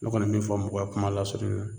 Ne kɔni be min fɔ mɔgɔw ye kuma lasurunya la